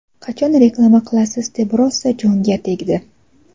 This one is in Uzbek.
qachon reklama qilasiz deb rosa jonga tegdi..